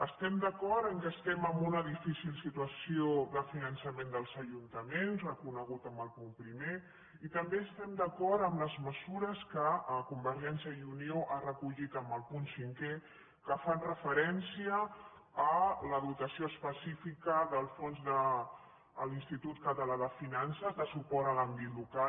estem d’acord que estem en una difícil situació de finançament dels ajuntaments reconegut en el punt primer i també estem d’acord amb les mesures que convergència i unió ha recollit en el punt cinquè que fan referència a la dotació específica del fons de l’institut català de finances de suport a l’àmbit local